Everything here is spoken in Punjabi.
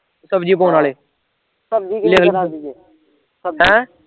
ਸਬਜ਼ੀ ਪਾਉਣ ਆਲੇ ਲਿਖ ਹੈਂ